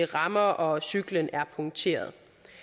rammer og cyklen er punkteret